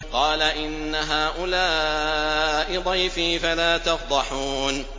قَالَ إِنَّ هَٰؤُلَاءِ ضَيْفِي فَلَا تَفْضَحُونِ